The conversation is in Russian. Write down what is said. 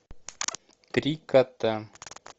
три кота